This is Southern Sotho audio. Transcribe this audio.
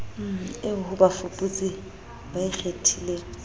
eo ho bafuputsi ba ikgethileng